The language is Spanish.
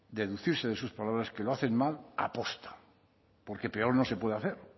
deducirse de sus palabras que lo hacen mal a posta porque peor no se puede hacer